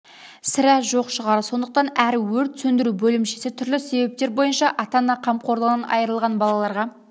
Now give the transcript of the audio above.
сірә жоқ шығар сондықтан әр өрт сөндіру бөлімшесі түрлі себептер бойынша ата-ана қамқорлығынан айырылған балаларға